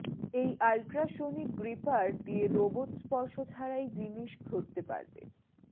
এই ultrasonic gripper দিয়ে robot স্পর্শ ছাড়াই জিনিস ধরতে পারবে